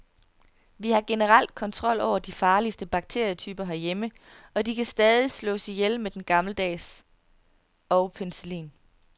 Vi har generelt kontrol over de farligste bakterietyper herhjemme, og de kan stadig slås ihjel med den gammeldags og penicillin.